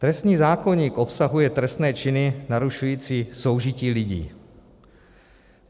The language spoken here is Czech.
Trestní zákoník obsahuje trestné činy narušující soužití lidí.